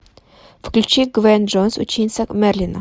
включи гвен джонс ученица мерлина